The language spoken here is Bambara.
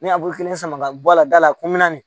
Ne abul kelen sama ka bɔ a la da la ko n bɛ na